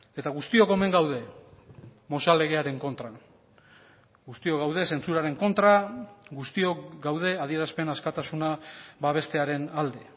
eta guztiok omen gaude mozal legearen kontra guztiok gaude zentsuraren kontra guztiok gaude adierazpen askatasuna babestearen alde